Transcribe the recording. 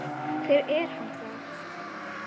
Hver er hann þá?